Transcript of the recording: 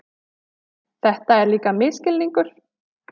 Þetta er líka misskilningur.